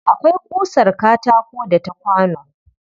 Akwai ƙusar katako da ta kwano